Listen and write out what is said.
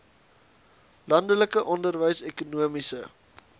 landelike onderwys ekonomiese